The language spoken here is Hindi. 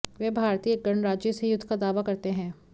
वे भारतीय गणराज्य से युद्ध का दावा करते हैं